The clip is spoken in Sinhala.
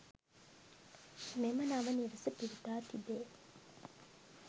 මෙම නව නිවස පිහිටා තිබේ.